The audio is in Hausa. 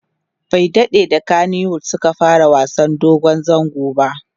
bai daɗe da kanywood Suka fara wasan dogon zango ba